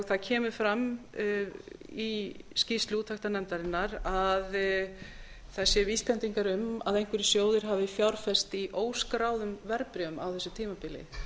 það kemur fram í skýrslu úttektarnefndarinnar að það séu vísbendingar um að einhverjir sjóðir hafi fjárfest í óskráðum verðbréfum á þessu tímabili